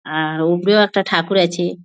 আ-আ-র উপরেও একটা ঠাকুর আছে।